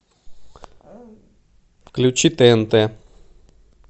включи тнт